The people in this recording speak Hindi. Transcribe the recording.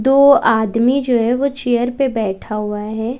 दो आदमी जो है वो चेयर पे बैठा हुआ है।